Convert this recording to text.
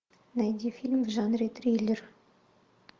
найди фильм в жанре триллер